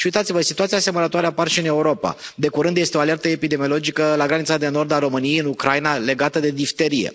Și uitați vă, situații asemănătoare apar și în Europa de curând este o alertă epidemiologică la granița de nord a României, în Ucraina, legată de difterie.